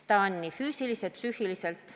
See on raske nii füüsiliselt kui psüühiliselt.